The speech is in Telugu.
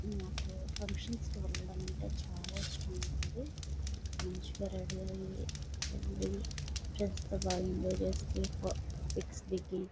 నాకు ఫంక్షన్స్ వెళ్ళడం అంటే చాలా ఇష్టం ఉంటుంది మంచిగా రెడీ అయ్యి వెళ్లి ఫ్రెండ్స్ తో బాగా ఎంజాయ్ పిక్స్ దిగి --